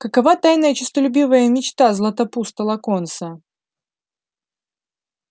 какова тайная честолюбивая мечта златопуста локонса